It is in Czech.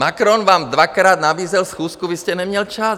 Macron vám dvakrát nabízel schůzku, vy jste neměl čas.